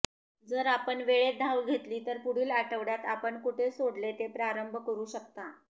जर आपण वेळेत धाव घेतली तर पुढील आठवड्यात आपण कुठे सोडले ते प्रारंभ करू शकता